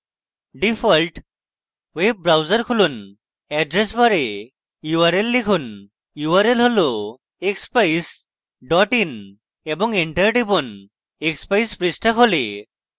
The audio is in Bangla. ডিফল্ট web browser খুলুন এড্রেস bar url লিখুন url expeyes in এবং enter টিপুন